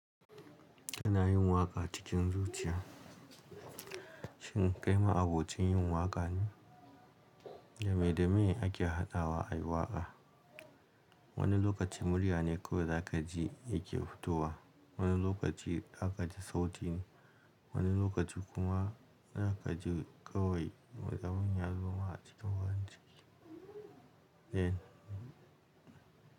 Kana yin waƙa cikin zuciya. Shin ƙaima abokin yin waƙa ne? Dame dame ake hadawa a yi waƙa. Wani lokaci murya ne kawai za ka ji yake fitowa, wani lokaci za ka ji sauti ne, wani lokaci kuma za ka ji kawai mazamun yanzu ma a cikin wurin ciki.